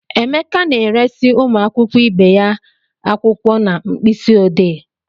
Emeka na-eresị ụmụ akwụkwọ ibe ya akwụkwọ na mkpịsị odee.